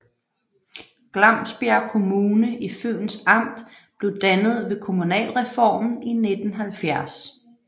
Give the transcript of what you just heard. Glamsbjerg Kommune i Fyns Amt blev dannet ved kommunalreformen i 1970